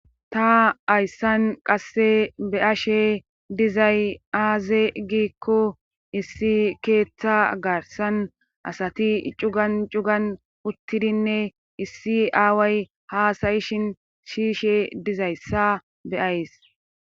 Ta hayssan qasse be'ashe dizay aaze giikko issi keeththa garssan asati cugan cugan uttidinne issi aaway haasayishin shiyiishe dizayssa be'ays